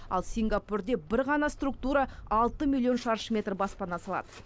ал сингапурде бір ғана структура алты миллион шаршы метр баспана салады